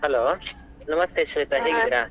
Hello ನಮಸ್ತೆ ಶ್ವೇತಾ ಹೇಗಿದ್ದೀರಾ?